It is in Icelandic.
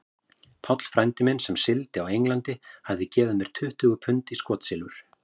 Páll frændi minn, sem sigldi á England, hafði gefið mér tuttugu pund í skotsilfur.